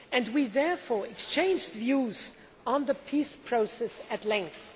We therefore exchanged views on the peace process at length.